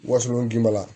Wasolon k'i bala